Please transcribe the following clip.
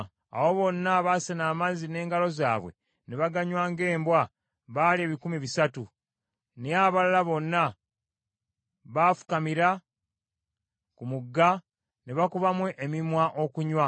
Abo bonna abaasena amazzi n’engalo zaabwe ne baganywa ng’embwa baali ebikumi bisatu, naye abalala bonna baafukamira ku mugga ne bakubamu emimwa okunywa.”